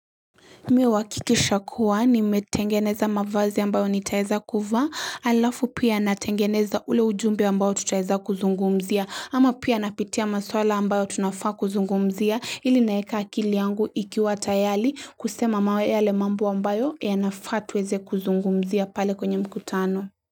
Mi huhakikisha kuwa nimetengeneza mavazi ambayo nitaeza kuvaa alafu pia natengeneza ule ujumbe ambao tutaeza kuzungumzia, ama pia napitia maswala ambayo tunafaa kuzungumzia, ili naeka akili yangu ikiwa tayari kusema mawe yale mambo ambayo yanafaa tuweze kuzungumzia pale kwenye mkutano.